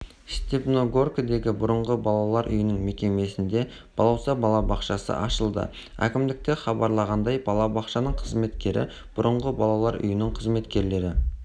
степногордегі бұрынғы балалар үйінің мекемесінде балауса балабақшасы ашылды әкімдікте хабарлағандай балабақшаның қызметкері бұрынғы балалар үйінің қызметкерлері